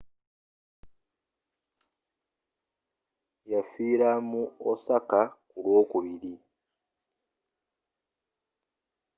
yafiira mu osaka ku lw'okubiri